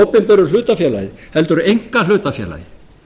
opinberu hlutafélagi heldur einkahlutafélagi